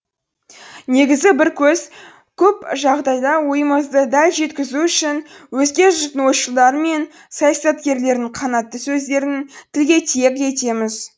негізі көп жағдайда ойымызды дәл жеткізу үшін өзге жұрттың ойшылдары мен саясаткерлерінің қанатты сөздерін тілге тиек етеміз